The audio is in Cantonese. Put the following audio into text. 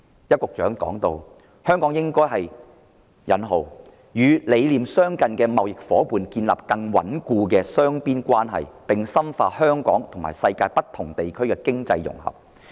邱局長表示，香港應該與理念相近的貿易夥伴建立更穩固的雙邊關係，並深化香港和世界不同地區的經濟融合。